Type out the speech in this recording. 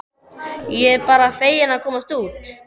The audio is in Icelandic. Ég er bara fegin að komast út!